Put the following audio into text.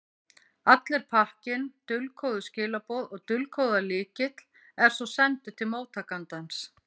Allur pakkinn, dulkóðuð skilaboð og dulkóðaður lykill, er svo sendur til móttakandans.